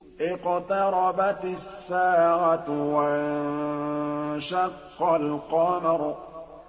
اقْتَرَبَتِ السَّاعَةُ وَانشَقَّ الْقَمَرُ